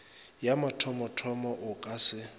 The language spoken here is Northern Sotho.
ya mathomothomo o ka se